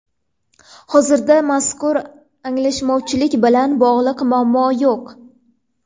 Hozirda mazkur anglashilmovchilik bilan bog‘liq muammo yo‘q.